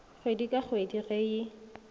kgwedi ka kgwedi ge e